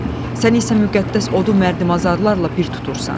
Sən isə müqəddəs odu mərdibazarlarla bir tutursan.